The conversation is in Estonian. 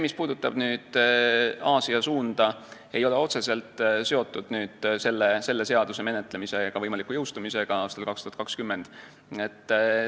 Mis puudutab Aasia suunda, siis see ei ole otseselt seotud selle seaduse menetlemise ega võimaliku jõustumisega aastal 2020.